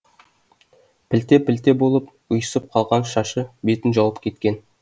пілте пілте болып ұйысып қалған шашы бетін жауып кеткен